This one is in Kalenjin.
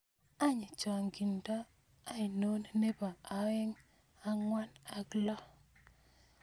Any chaanginta ainon nebo oeing angwan ak lo